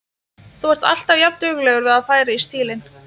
Þú ert alltaf jafnduglegur við að færa í stílinn.